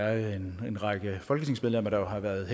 er en række folketingsmedlemmer der har været